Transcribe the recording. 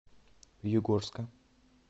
югорска